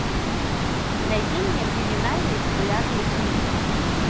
найди мне криминальные популярные фильмы